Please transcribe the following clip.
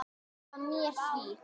Vá